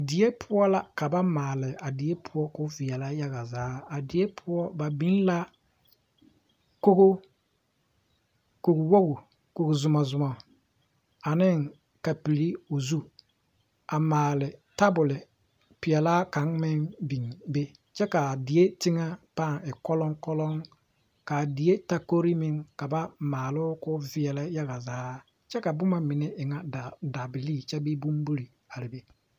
Die poɔ la ka ba maale ka o veɛlɛ. yaga zaa a die poɔ ba biŋ la kori, kogi wogi, kogi Zuma Zuma ane kapili o zu a maale tabol pɛlaa kaŋa meŋ biŋ be kyɛ kaa teŋɛ paaŋ e koloŋkoloŋ kaa die takori ka ba maaloo kɔ veɛlɛ. yaga zaa kyɛ ka boma mine e ŋa dabili kyɛ bee bonbiri are be